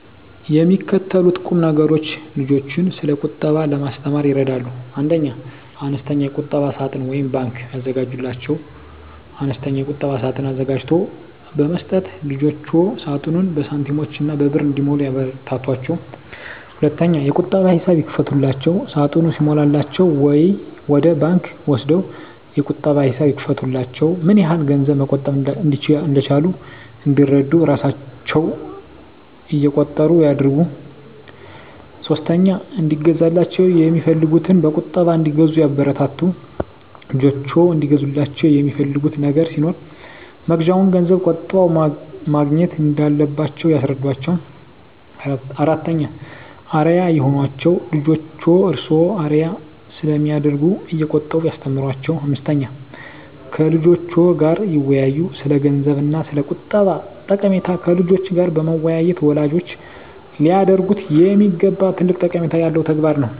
የሚከተሉት ቁምነገሮች ልጆችን ስለቁጠባ ለማስተማር ይረዳሉ 1. አነስተኛ የቁጠባ ሳጥን (ባንክ) ያዘጋጁላቸው፦ አነስተኛ የቁጠባ ሳጥን አዘጋጅቶ በመስጠት ልጆችዎ ሳጥኑን በሳንቲሞችና በብር እንዲሞሉ ያበረታቷቸው። 2. የቁጠባ ሂሳብ ይክፈቱላቸው፦ ሳጥኑ ሲሞላላቸው ወደ ባንክ ወስደው የቁጠባ ሂሳብ ይክፈቱላቸው። ምንያህል ገንዘብ መቆጠብ እንደቻሉ እንዲረዱ እራሣቸው እቆጥሩ ያድርጉ። 3. እንዲገዛላቸው የሚፈልጉትን በቁጠባ እንዲገዙ ያበረታቱ፦ ልጆችዎ እንዲገዙላቸው የሚፈልጉት ነገር ሲኖር መግዣውን ገንዘብ ቆጥበው ማግኘት እንዳለባቸው ያስረዷቸው። 4. አርአያ ይሁኗቸው፦ ልጆችዎ እርስዎን አርአያ ስለሚያደርጉ እየቆጠቡ ያስተምሯቸው። 5. ከልጆችዎ ጋር ይወያዩ፦ ስለገንዘብ እና ስለቁጠባ ጠቀሜታ ከልጆች ጋር መወያየት ወላጆች ሊያደርጉት የሚገባ ትልቅ ጠቀሜታ ያለው ተግባር ነው።